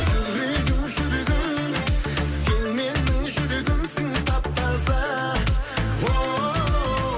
жүрегім жүрегім сен менің жүрегімсің тап таза оу